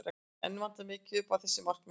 Enn vantar mikið upp á að þessi markmið náist.